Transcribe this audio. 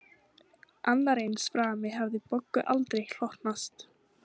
Annar eins frami hafði Boggu aldrei hlotnast